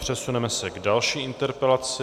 Přesuneme se k další interpelaci.